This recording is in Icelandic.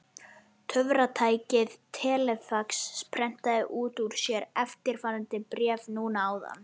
Töfratækið telefax prentaði út úr sér eftirfarandi bréf núna áðan.